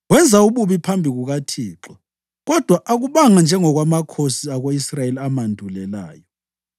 Wenza ububi phambi kukaThixo, kodwa akubanga njengokwamakhosi ako-Israyeli amandulelayo.